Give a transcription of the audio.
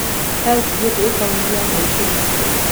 Heavens Gate ĩ kautĩ ya Naikuru